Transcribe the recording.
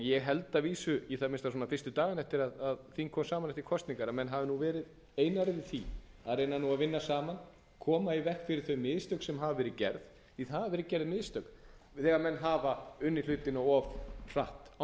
ég held að vísu í það minnsta fyrstu dagana eftir að þing kom saman eftir kosningar að menn hafi verið einarðir í því að reyna að vinna saman koma í veg fyrir þau mistök sem hafa verið gerð því það hafa verið gerð mistök án nokkurs